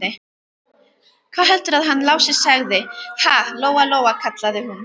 Hvað heldurðu að hann Lási segði, ha, Lóa-Lóa, kallaði hún.